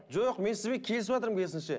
жоқ мен сізбен келісіватырмын керісінше